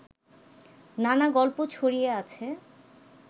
নানা গল্প ছড়িয়ে আছে